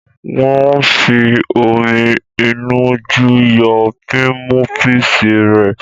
Wòn fi omi ìnu jú yọ pímúpisi rẹ